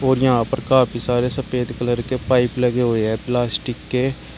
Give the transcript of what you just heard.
और यहां पर काफी सारे सफेद कलर के पाइप लगे हुए हैं प्लास्टिक के।